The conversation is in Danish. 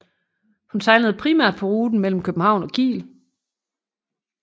Hun sejlede primært på ruten mellem København og Kiel